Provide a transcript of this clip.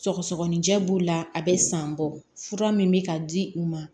Sɔgɔsɔgɔninjɛ b'u la a bɛ san bɔ fura min bɛ ka di u ma